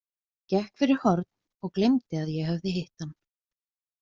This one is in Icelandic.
Gekk fyrir horn og gleymdi að ég hafði hitt hann.